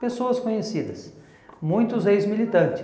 Pessoas conhecidas, muitos ex-militante.